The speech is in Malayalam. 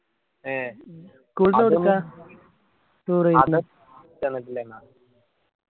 ഏ തന്നിട്ടില്ലെന്നു ആ